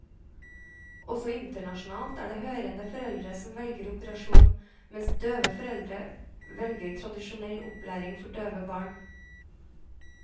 Også internasjonalt er det hørende foreldre som velger operasjon, mens døve foreldre velger tradisjonell opplæring for døve barn.